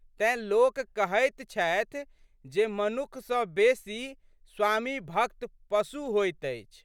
तेँ, लोक कहैत छथि जे मनुख सँ बेशी स्वामीभक्त पशु होइत अछि।